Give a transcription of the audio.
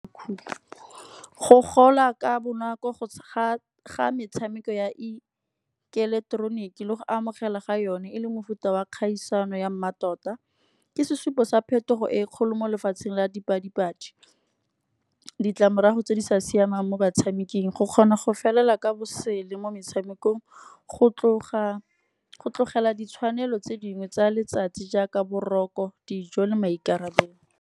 Go gola ka bonako go ga metshameko ya ileketeroniki le go amogela ga yone e le mofuta wa kgaisano ya mmatota. Ke sesupo sa phetogo e kgolo mo lefatsheng la dipadi-padi. Ditlamorago tse di sa siamang mo batshameking, go kgona go felela ka bosele mo metshamekong, go tlogela ditshwanelo tse dingwe tsa letsatsi jaaka boroko, dijo le maikarabelo.